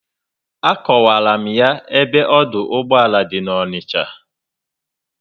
Akowara m ya ebe ọdụ ụgbọala dị na Onicha